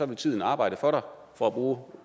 vil tiden arbejde for for at bruge